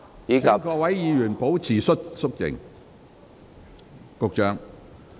請各位議員保持肅靜。